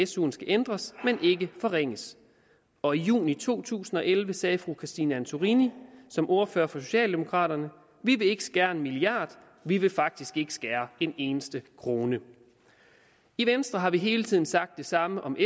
suen skal ændres men ikke forringes og i juni to tusind og elleve sagde fru christine antorini som ordfører for socialdemokraterne vi vil ikke skære en milliard vi vil faktisk ikke skære en eneste krone i venstre har vi hele tiden sagt det samme om